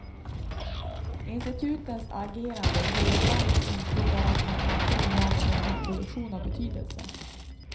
Institutens agerande ger ibland ett intryck av att man inte vill ha någon nyproduktion av betydelse.